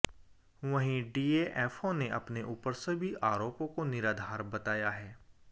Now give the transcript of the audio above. वहीं डीएफओ ने अपने उपर सभी आरोपो को निराधार बताया है